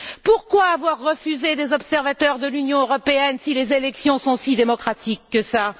Pourquoi avoir refusé d'accueillir des observateurs de l'Union européenne si les élections sont si démocratiques que ça?